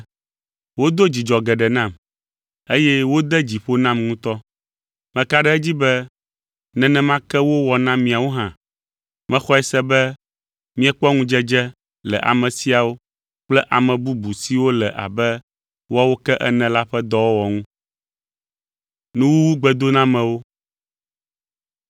Wodo dzidzɔ geɖe nam, eye wode dzi ƒo nam ŋutɔ. Meka ɖe edzi be nenema ke wowɔ na miawo hã. Mexɔe se be miekpɔ ŋudzedze le ame siawo kple ame bubu siwo le abe woawo ke ene la ƒe dɔwɔwɔ ŋu.